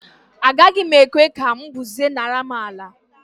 Agaghị m ekwe ka mbuze nara m àlà.